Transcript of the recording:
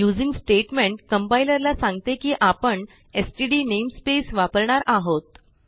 using statement compilerला सांगते की आपण एसटीडी नेमस्पेस वापरणार आहोत